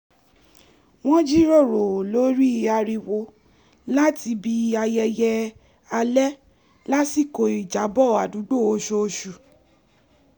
wọ́n jíròrò lórí ariwo láti ibi ayẹyẹ alẹ́ lásìkò ìjábọ̀ àdúgbò oṣooṣù